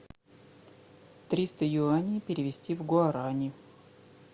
триста юаней перевести в гуарани